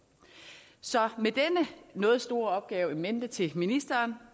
så med denne noget store opgave in mente til ministeren